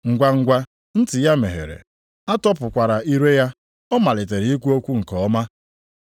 Ngwangwa, ntị ya meghere, a tọpụkwara ire ya, ọ malite ikwu okwu nke ọma.